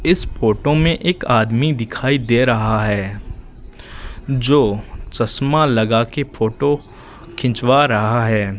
इस फोटो में एक आदमी दिखाई दे रहा है जो चश्मा लगा के फोटो खिंचवा रहा है।